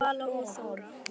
Vala og Þóra.